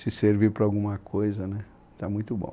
Se servir para alguma coisa, né está muito bom.